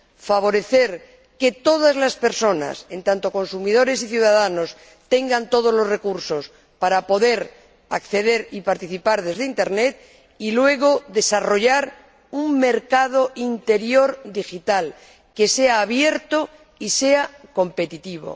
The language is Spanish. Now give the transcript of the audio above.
favorecer que todas las personas, en tanto que consumidores y ciudadanos, tengan todos los recursos para poder acceder y participar desde Internet y, luego, desarrollar un mercado interior digital que sea abierto y sea competitivo.